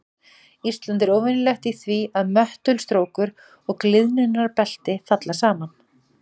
Ísland er óvenjulegt í því að möttulstrókur og gliðnunarbelti falli saman.